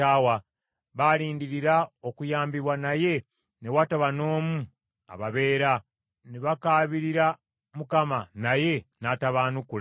Baalindirira okuyambibwa naye ne wataba n’omu ababeera, ne bakaabira Mukama , naye n’atabaanukula.